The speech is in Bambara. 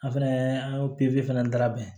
An fɛnɛ an y'o pikiri fɛnɛ labɛn